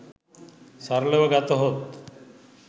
සරලව ගතහොත්